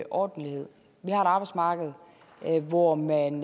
ordentlighed vi har et arbejdsmarked hvor man